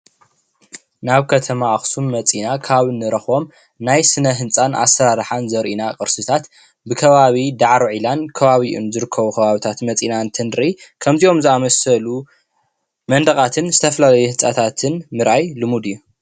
ናብ ከተማ አክሱም መፂና ካብ ንረክቦም ናይ ስነህንፃን አሰራርሓን ዘሪኡና ቅርስታት ብከባቢ ዳዕሮ ዒላን ከባቢኡን ዝርከቡ ከባቢታት መፂና እንትንርኢ ከምዚኦም ዘአመሰሉ መንዲቃትን ዝተፈላለዩ ህንፃታትን ምርኣይ ልሙድ እዩ።